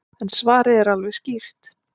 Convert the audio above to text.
En svarið er alveg skýrt.